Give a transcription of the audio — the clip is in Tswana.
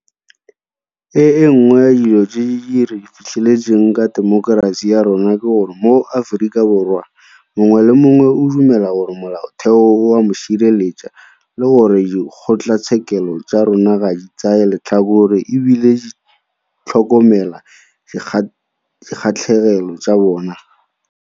E nngwe ya dilo tse re di fitlheletseng ka temokerasi ya rona ke gore moAforika Borwa mongwe le mongwe o dumela gore Molaotheo o a mo sireletsa le gore dikgotlatshekelo tsa rona ga di tsaye letlhakore e bile di tlhokomela dikgatlhegelo tsa bona.